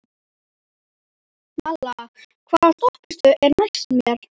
Malla, hvaða stoppistöð er næst mér?